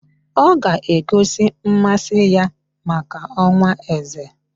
Ọ ga-egosi mmasị ya maka ọkwá eze